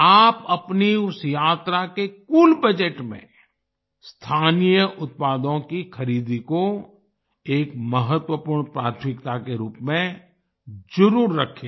आप अपनी उस यात्रा के कुल बजट में स्थानीय उत्पादों की खरीदी को एक महत्त्वपूर्ण प्राथमिकता के रूप में जरुर रखें